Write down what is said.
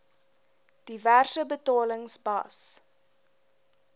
diverse betalings bas